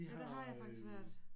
Ja der har jeg faktisk været